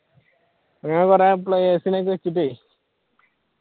ആഹ് കുറെ players നെ ഒക്കെയെടുത്തിട്ട്